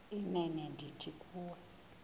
inene ndithi kuwe